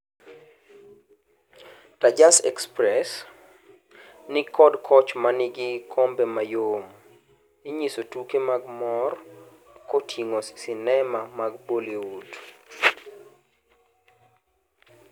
Tejas Express ni kod koch manigi kombe mayom, inyiso tuke mag mor koting'o sinema mag Bollywood.